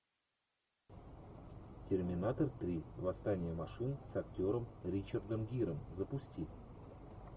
терминатор три восстание машин с актером ричардом гиром запусти